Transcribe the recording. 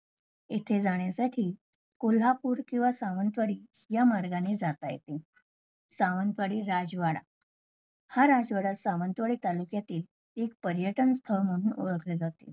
इथे जाण्यासाठी कोल्हापूर किंवा सावंतवाडी या मार्गाने जात येते. सावंतवाडी राजवाडा, हा राजवाडा सावंतवाडी तालुक्यातील एक पर्यटन स्थळ म्हणून ओळखलं जाते